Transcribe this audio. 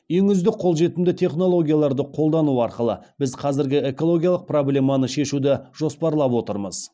ең үздік қолжетімді технологияларды қолдану арқылы біз қазіргі экологиялық проблеманы шешуді жоспарлап отырмыз